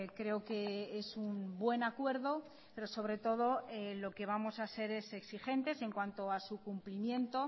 creo que es un buen acuerdo pero sobre todo lo que vamos a ser es exigentes en cuanto a su cumplimiento